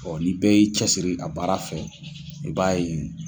Ɔ ni bɛɛ y'i cɛsiri a baara fɛ i b'a ye.